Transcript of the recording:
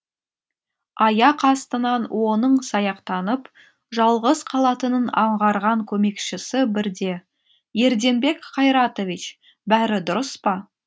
аяқ астынан оның саяқтанып жалғыз қалатынын аңғарған көмекшісі бірде ерденбек қайратович бәрі дұрыс па